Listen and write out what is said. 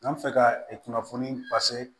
N'an bɛ fɛ ka kunnafoni